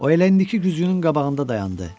O eləcə güzgünün qabağında dayandı.